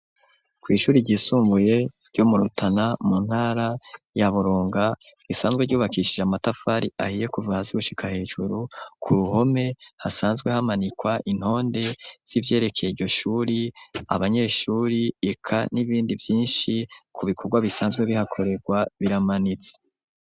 kwishuri ryisumbuye, ryo mu Rutana mu ntara ya burunga ,risanzwe ryubakishije amatafari ahiye kuva hasi gushika hejuru , ku ruhome hasanzwe hamanikwa intonde z'ivyerekeye iryo shuri , abanyeshuri, eka n'ibindi vyinshi ku bikorwa bisanzwe bihakorerwa, biramanitse .